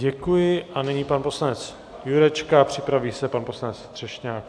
Děkuji, nyní pan poslanec Jurečka a připraví se pan poslanec Třešňák.